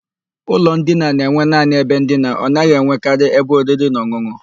Ụlọ ndina na-enwe naanị ebe ndina, ọ naghị enwekarị ebe oriri na ọn̄ụn̄ụ.